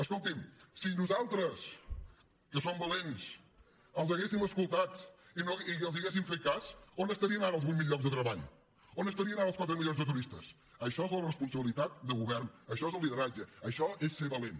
escoltin si nosaltres que som valents els haguéssim escoltat i els haguéssim fet cas on estarien ara els vuit mil llocs de treball on estarien ara els quatre milions de turistes això és la responsabilitat de govern això és el lideratge això és ser valent